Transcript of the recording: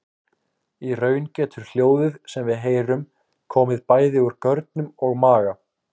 Í raun getur hljóðið sem við heyrum komið bæði úr görnum og maga.